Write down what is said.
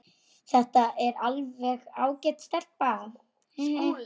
Þetta er alveg ágæt stelpa.